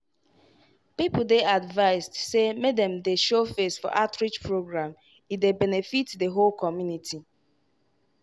people dey advised say make dem dey show face for outreach program e dey benefit the whole community.